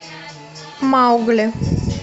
маугли